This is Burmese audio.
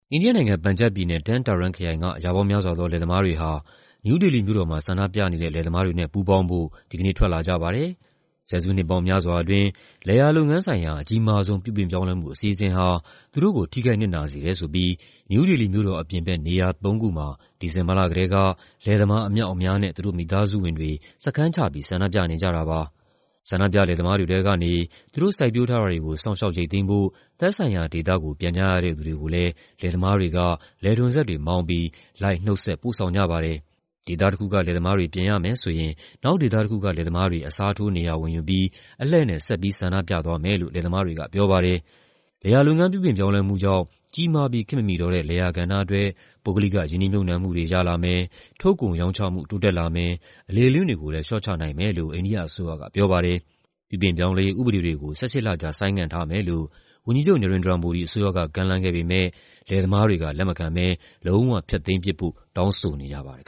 အိန္ဒိယနိုင်ငံ၊ ပန်ဂျပ်ပြည်နယ်၊ Tarn Taran ခရိုင်က ရာပေါင်းများစွာသော လယ်သမားတွေဟာ နယူးဒေလီမြို့တော်မှာ ဆန္ဒပြနေတဲ့ လယ်သမားတွေနဲ့ ပူးပေါင်းဖို့ ဒီကနေ့ ထွက်လာကြပါတယ်။ ဆယ်စုနှစ်ပေါင်းများစွာအတွင်း လယ်ယာလုပ်ငန်းဆိုင်ရာ အကြီးမားဆုံး ပြုပြင်ပြောင်းလဲမှုအစီအစဉ်ဟာ သူတို့ကို ထိခိုက်နစ်နာစေတယ်ဆိုပြီး နယူးဒေလီမြို့တော်အပြင်ဘက် နေရာသုံးခုမှာ ဒီဇင်ဘာလကတည်းက လယ်သမားအမြောက်အများနဲ့ သူတို့မိသားစုဝင်တွေ စခန်းချပြီး ဆန္ဒပြနေကြတာပါ။ ဆန္ဒပြလယ်သမားတွေထဲကနေ သူတို့စိုက်ပျိုးထားတွေကို စောင့်ရှောက်ရိတ်သိမ်းဖို့ သက်ဆိုင်ရာဒေသကို ပြန်ကြရတဲ့သူတွေကိုလည်း လယ်သမားတွေက လယ်ထွန်စက်တွေမောင်းပြီး လိုက်နှုတ်ဆက်ပို့ဆောင်ကြပါတယ်။ ဒေသတခုက လယ်သမားတွေ ပြန်ရမယ်ဆိုရင် နောက်ဒေသတခုက လယ်သမားတွေ အစားထိုး နေရာဝင်ယူပြီး အလှည့်နဲ့ ဆက်ပြီးဆန္ဒပြသွားမယ်လို့ လယ်သမားတွေက ပြောပါတယ်။ လယ်ယာလုပ်ငန်း ပြုပြင်ပြောင်းလဲမှုကြောင့် ကြီးမားပြီး ခေတ်မမီတော့တဲ့ လယ်ယာကဏ္ဍအတွက် ပုဂ္ဂလိက ရင်းနှီးမြှုပ်နှံမှုတွေ ရလာမယ်၊ ထုတ်ကုန်ရောင်းချမှု တိုးတက်လာမယ်၊ အလေအလွင့်တွေကိုလည်း လေ ျှာ့ချနိုင်မယ်လို့ အိန္ဒိယအစိုးရကပြောပါတယ်။ ပြုပြင်ပြောင်းလဲရေး ဥပဒေတွေကို ၁၈ လကြာ ဆိုင်းငံ့ထားမယ်လို့ ဝန်ကြီးချုပ် Narendra Modi အစိုးရက ကမ်းလှမ်းခဲ့ပေမယ့် လယ်သမားတွေက လက်မခံဘဲ လုံးဝဖျက်သိမ်းပစ်ဖို့ တောင်းဆိုနေကြပါတယ်